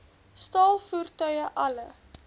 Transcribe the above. staal voertuie alle